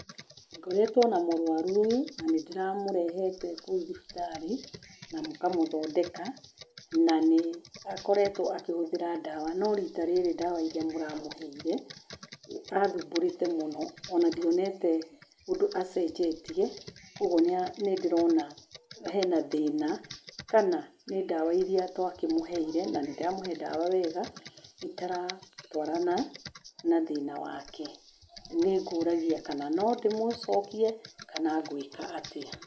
Ngoretwo na mũrũaru ũyũ na nĩ ndĩramũrehete kũu thibitarĩ na mũkamũthondeka na nĩ akoretwo akĩhũthĩra ndawa, no rita rĩrĩ ndawa iria mũramũheire athumbũrĩte mũno ona ndionete ũndũ acenjetie kũoguo nĩndĩrona hena thĩna kana nĩ ndawa iria twakĩmũheire na nĩndĩramũhe ndawa wega itaratwarana na thĩna wake. Nĩngũragia kana no ndĩmũcokie kana ngwĩka atĩa.